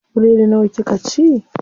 Biredi nawa kika ci?